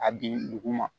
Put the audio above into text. A bin dugu ma